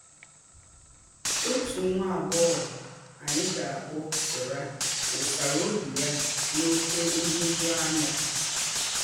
Òtù nwá àgbọ́ghọ̀ ányị̀ gà-akpọ̀ Sera wụsárà óbì yà n’ókè nhụ̀jùàńyà.